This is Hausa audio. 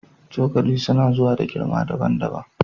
Cokali suna zuwa da girma daban-daban